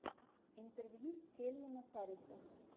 интервью кельвина харриса